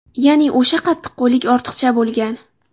Ya’ni o‘sha qattiqqo‘llik ortiqcha bo‘lgan.